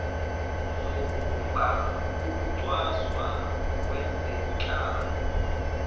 zobumba ukucwaswa ngezenhlalo